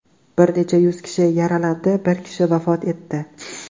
Bir necha yuz kishi yaralandi, bir kishi vafot etdi.